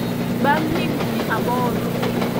bang higni aboro